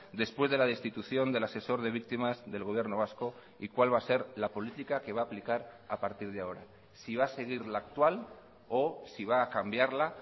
después de la destitución del asesor de víctimas del gobierno vasco y cuál va a ser la política que va a aplicar a partir de ahora si va a seguir la actual o si va a cambiarla